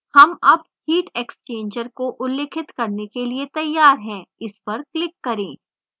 हम अब heat exchanger को उल्लिखित करने के लिए तैयार हैं इस पर click करें